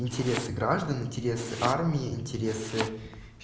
интересы граждан интересы армии интересы